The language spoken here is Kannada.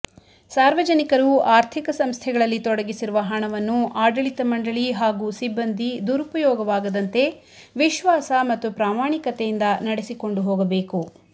ಸಾರ್ವಜನಿಕರು ಆರ್ಥಿಕ ಸಂಸ್ಥೆಗಳಲ್ಲಿ ತೊಡಗಿಸಿರುವ ಹಣವನ್ನು ಆಡಳಿತ ಮಂಡಳಿ ಹಾಗೂ ಸಿಬ್ಬಂದಿ ದುರಪಯೋಗವಾಗದಂತೆ ವಿಶ್ವಾಸ ಮತ್ತು ಪ್ರಾಮಾಣಿಕತೆಯಿಂದ ನಡೆಸಿಕೊಂಡು ಹೋಗಬೇಕು